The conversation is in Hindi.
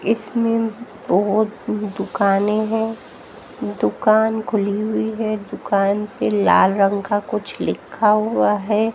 इसमें बहुत दुकानें हैं दुकान खुली हुई है दुकान पे लाल रंग का कुछ लिखा हुआ है।